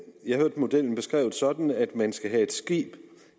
jeg hørte modellen beskrevet sådan at man skal have et skib